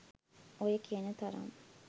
ඔය කියන තරම්